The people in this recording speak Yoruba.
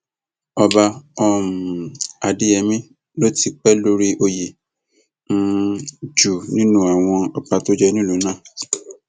ọba um adéyẹmi ló tì í pé lórí oyè um jù nínú àwọn ọba tó jẹ ní ìlú náà